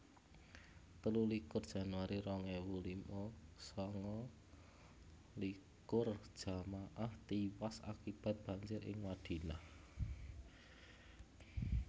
telulikur januari rong ewu lima sanga likur jamaah tiwas akibat banjir ing Madinah